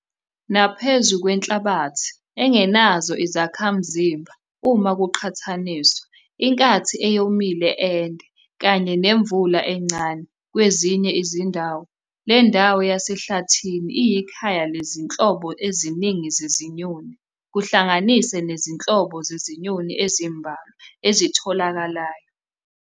Naphezu kwenhlabathi engenazo izakhamzimba uma kuqhathaniswa, inkathi eyomile ende, kanye nemvula encane kwezinye izindawo, le ndawo yasehlathini iyikhaya lezinhlobo eziningi zezinyoni, kuhlanganise nezinhlobo zezinyoni ezimbalwa ezitholakalayo.